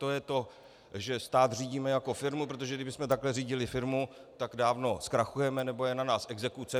To je to, že stát řídíme jako firmu, protože kdybychom takhle řídili firmu, tak dávno zkrachujeme nebo je na nás exekuce.